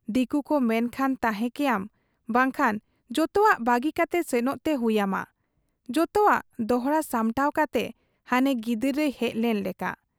ᱫᱤᱠᱩᱠᱚ ᱢᱮᱱᱠᱷᱟᱱ ᱛᱟᱦᱮᱸ ᱠᱮᱭᱟᱢ, ᱵᱟᱝᱠᱷᱟᱱ ᱡᱚᱛᱚᱣᱟᱜ ᱵᱟᱹᱜᱤ ᱠᱟᱛᱮ ᱥᱮᱱᱚᱜ ᱛᱮ ᱦᱩᱭ ᱟᱢᱟ ᱡᱚᱛᱚᱣᱟᱜ ᱫᱚᱦᱲᱟ ᱥᱟᱢᱴᱟᱣ ᱠᱟᱛᱮ ᱦᱟᱱᱮ ᱜᱤᱫᱟᱹᱨ ᱨᱮᱭ ᱦᱮᱡ ᱞᱮᱱ ᱞᱮᱠᱟ ᱾